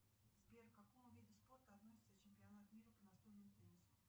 сбер к какому виду спорта относится чемпионат мира по настольному теннису